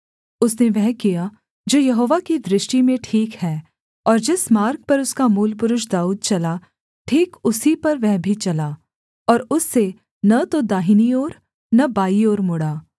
उसने वह किया जो यहोवा की दृष्टि में ठीक है और जिस मार्ग पर उसका मूलपुरुष दाऊद चला ठीक उसी पर वह भी चला और उससे न तो दाहिनी ओर न बाईं ओर मुड़ा